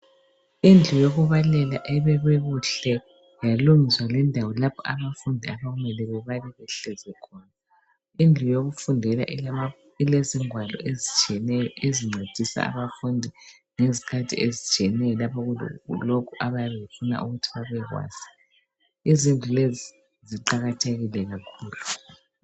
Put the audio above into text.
Indlu yokubalela ebekwe kuhle ,yalungiswa lendawo lapho abafundi abamele bebale behlezi khona .Indlu yokufundela ilezingwalo ezitshiyeneyo ezincedisa abafundi ngezikhathi ezitshiyeneyo lapho kulokhu abayabe befuna ukuthi babekwazi .Izindlu lezi ziqakathekile kakhulu.